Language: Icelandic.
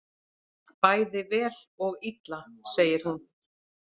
Bæði vel og illa, segir hún.